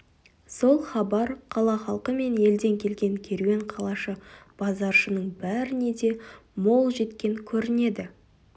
сол хабар қала халқы мен елден келген керуен қалашы базаршының бәріне де мол жеткен көрінеді